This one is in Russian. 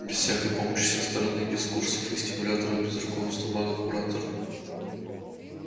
без всякой помощи со стороны без курсов и стимуляторов без руководства мага-куратора